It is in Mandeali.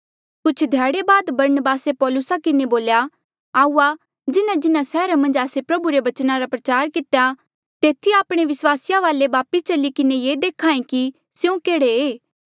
कुछ ध्याड़े बाद बरनबासे पौलुसा किन्हें बोल्या आऊआ जिन्हाजिन्हा सैहरा मन्झ आस्से प्रभु रे बचना रा प्रचार कितेया तेथी आपणे विस्वासिया वाले वापस चली किन्हें ये देख्हा ऐें कि स्यों केह्ड़े ऐें